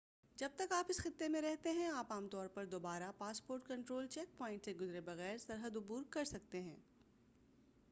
جب تک آپ اس خطے میں رہتے ہیں آپ عام طور پر دوبارہ پاسپورٹ کنٹرول چیک پوائنٹ سے گزرے بغیر سرحد عبور کرسکتے ہیں